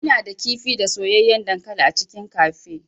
Ina da kifi da soyayyen dankali a cikin cafe.